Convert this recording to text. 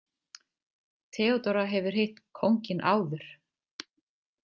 Theodóra hefur hitt kónginn áður.